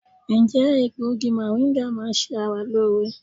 Ǹjẹ́ egbògi mọ̀ríńgà máa ń ṣe ara lóore?